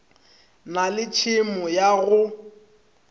na le tšhemo ya go